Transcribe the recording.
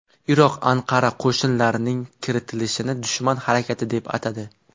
Iroq Anqara qo‘shinlarining kiritilishini dushman harakati deb atadi.